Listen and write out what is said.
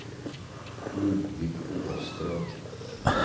Ludvig Åström